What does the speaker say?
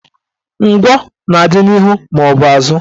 Ngwọ na-adị n'ihu maọbụ azụ